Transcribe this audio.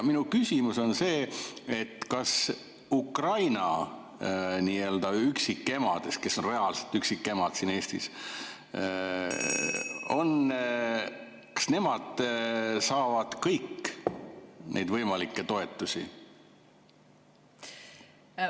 Minu küsimus on see: kas Ukraina üksikemad, kes on reaalselt üksikemad siin Eestis , saavad kõik neid võimalikke toetusi?